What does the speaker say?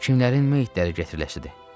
Kimlərin meyitləri gətiriləcəkdir?